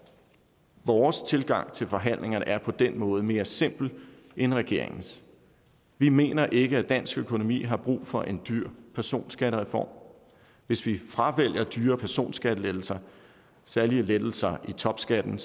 vores tilgang til forhandlingerne er på den måde mere simpel end regeringens vi mener ikke at dansk økonomi har brug for en dyr personskattereform hvis vi fravælger dyre personskattelettelser særlig lettelser i topskatten